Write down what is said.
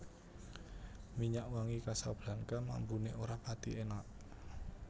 Minyak wangi Casablanca mambune ora pathi enak